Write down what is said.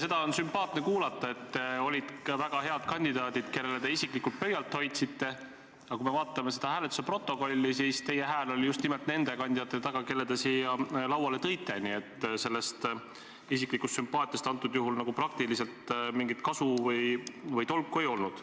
Seda on sümpaatne kuulda, et oli ka teisi väga häid kandidaate, kellele te isiklikult pöialt hoidsite, aga kui vaatame hääletuse protokolli, siis teie hääl on just nimelt nende kandidaatide taga, kelle te siia lauale tõite, nii et sellest isiklikust sümpaatiast antud juhul praktiliselt mingit kasu või tolku ei olnud.